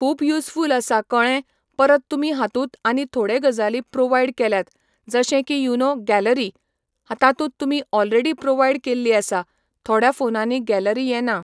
खूब युसफूल आसा कळ्ळें परत तुमी हातूंत आनी थोडे गजाली प्रोवायड केल्यात जशे की युनो गॅलरी तातूंत तुमी ऑलरेडी प्रोवायड केल्ली आसा थोड्या फोनांनी गॅलरी येना